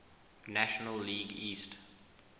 national league east